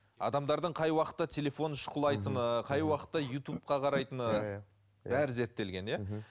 адамдардың қай уақытта телефон шұқылайтыны қай уақытта ютубқа қарайтыны иә иә бәрі зерттелген иә мхм